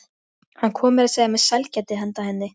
Hann kom meira að segja með sælgæti handa henni.